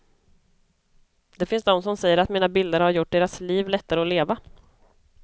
Det finns de som säger att mina bilder har gjort deras liv lättare att leva.